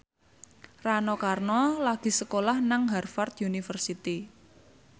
Rano Karno lagi sekolah nang Harvard university